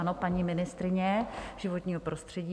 Ano, paní ministryně životního prostředí.